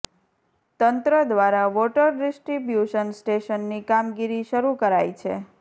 તંત્ર દ્વારા water distribution સ્ટેશનની કામગીરી શરૂ કરાઇ છે